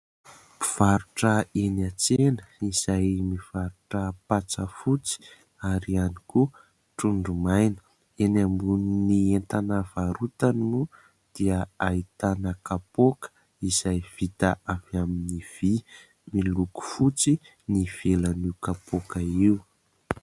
Mpivarotra eny an-tsena izay mivarotra patsa fotsy ary ihany koa trondro maina. Eny ambonin'ny entana varotany moa dia ahitana kapoaka izay vita avy amin'ny vy miloko fotsy ny ivelan'io kapoka io.